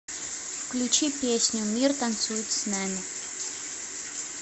включи песню мир танцует с нами